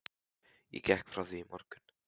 Ég gekk frá því í morgun.